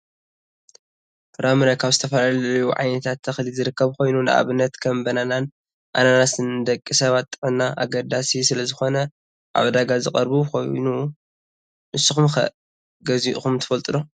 ፍራምረ ካብ ዝተፈላለዩ ዓይነታት ተክሊ ዝርከብ ኮይኑ፣ ንኣብነት ከም በናናን ኣናናስን ንደቂ ሰባት ጥዕና ኣገዳሲ ስለዝኮነ ኣብ ዕዳጋ ዝቀረቡ ኮይኑ፣ ንስኩም'ከ ገዚኢኩም ትፈልጡ ዶ ?